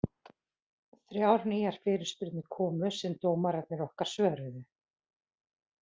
Þrjár nýjar fyrirspurnir komu sem dómararnir okkar svöruðu.